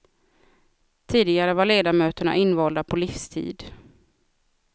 Tidigare var ledamöterna invalda på livstid.